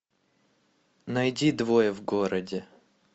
найди двое в городе